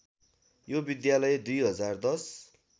यो विद्यालय २०१०